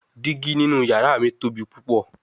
Digi ninu yara mi tobi pupọ